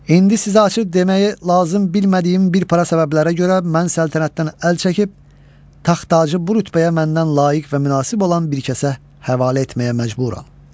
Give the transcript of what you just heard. İndi sizə açıb deməyi lazım bilmədiyim bir para səbəblərə görə mən səltənətdən əl çəkib, taxtacıyı bu rütbəyə məndən layiq və münasib olan bir kəsə həvalə etməyə məcburam.